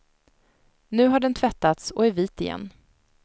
Nu har den tvättats och är vit igen.